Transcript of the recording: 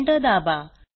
enter दाबा